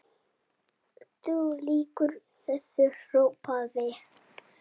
Þú lýgur þessu, hrópaði